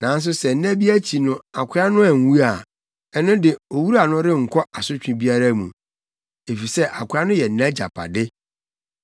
Nanso sɛ nna bi akyi no akoa no anwu a, ɛno de, owura no renkɔ asotwe biara mu, efisɛ akoa no yɛ nʼagyapade.